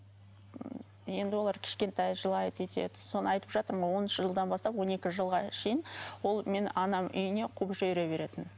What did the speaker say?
енді олар кішкентай жылайды өйтеді соны айтып жатырмын ғой оныншы жылдан бастап он екі жылға шейін ол мені анам үйіне қуып жібере беретін